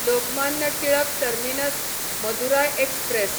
Lokmanya Tilak terminus Madurai express